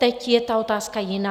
Teď je ta otázka jiná.